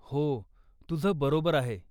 हो, तुझं बरोबर आहे.